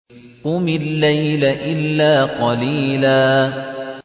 قُمِ اللَّيْلَ إِلَّا قَلِيلًا